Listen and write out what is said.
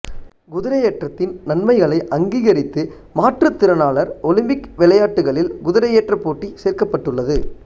குதிரையேற்றத்தின் நன்மைகளை அங்கீகரித்து மாற்றுத் திறனாளர் ஒலிம்பிக் விளையாட்டுக்களில் குதிரையேற்றப் போட்டி சேர்க்கப்பட்டுள்ளது